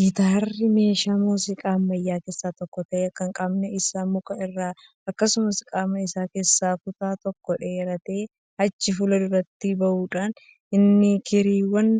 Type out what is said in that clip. Gitaarri meeshaa muuziqaa ammayyaa keessaa tokko ta'ee kan qaamni isaa muka irraa akkasumas qaama isaa keessaa kutaan tokko dheeratee achi fuulduratti bahudha. Innis kirriiwwan